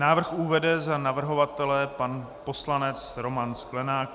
Návrh uvede za navrhovatele pan poslanec Roman Sklenák.